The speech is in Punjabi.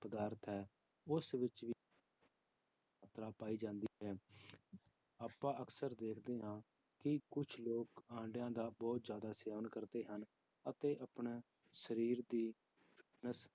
ਪਦਾਰਥ ਹੈ ਉਸ ਵਿੱਚ ਵੀ ਮਾਤਰਾ ਪਾਈ ਜਾਂਦੀ ਹੈ ਆਪਾਂ ਅਕਸਰ ਦੇਖਦੇ ਹਾਂ ਕਿ ਕੁਛ ਲੋਕ ਆਂਡਿਆਂ ਦਾ ਬਹੁਤ ਜ਼ਿਆਦਾ ਸੇਵਨ ਕਰਦੇ ਹਨ, ਅਤੇ ਆਪਣੇ ਸਰੀਰ ਦੀ